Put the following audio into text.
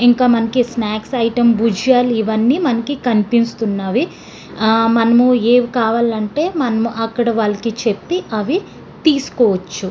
ఇంకా మనకి snacks item బుజ్జియాలు ఇవ్వని మనకి కనిపిస్తున్నవి. ఆహ్ మనము ఏవ్ కావాలంటే మనము అక్కడ వాళ్ళకి చేపి అవి తీస్కోవచ్చు.